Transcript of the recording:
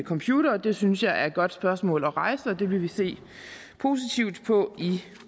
computere det synes jeg er et godt spørgsmål at rejse og det vil vi se positivt på i